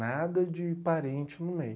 Nada de parente no meio.